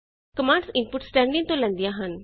commands input stdin ਤੋ ਲੈਂਦਿਆਂ ਹਨ